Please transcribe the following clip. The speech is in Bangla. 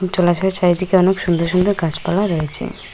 জলাশয়ের চারিদিকে অনেক সুন্দর সুন্দর গাছপালা রয়েছে।